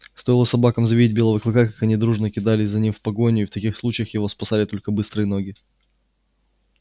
стоило собакам завидеть белого клыка как они дружно кидались за ним в погоню и в таких случаях его спасали только быстрые ноги